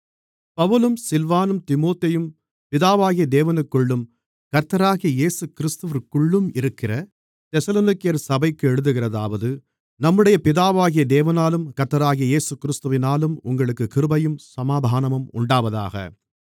பவுலும் சில்வானும் தீமோத்தேயும் பிதாவாகிய தேவனுக்குள்ளும் கர்த்தராகிய இயேசுகிறிஸ்துவிற்குள்ளும் இருக்கிற தெசலோனிக்கேயர் சபைக்கு எழுதுகிறதாவது நம்முடைய பிதாவாகிய தேவனாலும் கர்த்தராகிய இயேசுகிறிஸ்துவினாலும் உங்களுக்குக் கிருபையும் சமாதானமும் உண்டாவதாக